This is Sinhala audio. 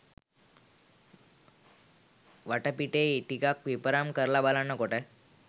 වටපිටේ ටිකක් විපරම් කරල බලනකොට